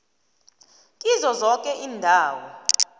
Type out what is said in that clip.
kizo zoke iindawo